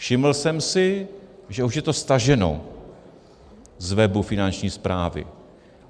Všiml jsem si, že už je to staženo z webu Finanční správy.